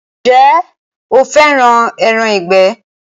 Ǹjẹ́ o fẹ́ràn “ẹran ìgbẹ̀”.